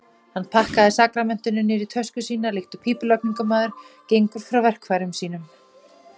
Hann pakkaði sakramentinu niður í tösku sína líkt og pípulagningamaður gengur frá verkfær- um sínum.